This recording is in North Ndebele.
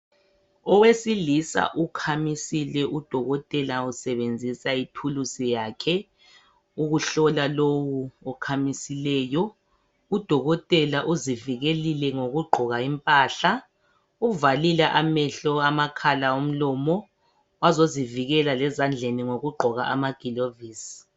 Owesilisa ukhamisile ,udokotela usebenzisa ithulusi yakhe ukuhlola lowu okhamisileyo . Udokotela uzivikelile ngokugqoka impahla ,uvalile amehlo, amakhala ,umlomo .Wazozivikela lezandleni ngokugqoka amagilovisi.